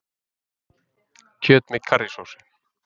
Kjöt með karrísósu